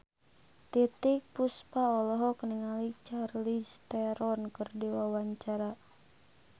Titiek Puspa olohok ningali Charlize Theron keur diwawancara